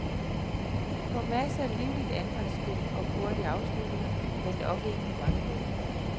På masser af livligt angrebsspil og hurtige afslutninger, men nok ikke på mange mål.